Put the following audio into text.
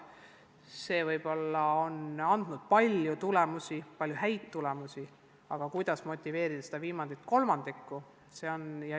See on andnud üsna palju häid tulemusi, aga kuidas motiveerida seda viimast kolmandikku, see on keeruline.